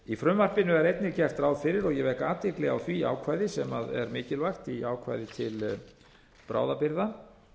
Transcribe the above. í frumvarpinu er einnig gert ráð fyrir og ég vek athygli á því ákvæði sem er mikilvægt í ákvæði til bráðabirgða